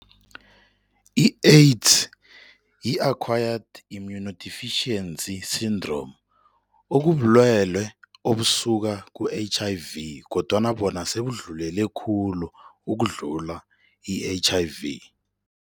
I-AIDS yi-Acquired Immunodeficiency Syndrome okubulwelwe obusuka ku-H_I_V kodwana bona sebudlulele khulu ukudlula i-H_I_V.